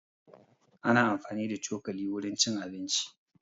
Ana amfani da cokali wurin cin abinci